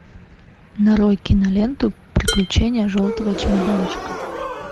нарой киноленту приключения желтого чемоданчика